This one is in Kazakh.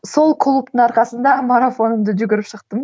сол клубтың арқасында марафонымды жүгіріп шықтым